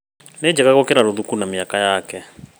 Nĩ njega gũkĩra rũthuku na mĩaka yake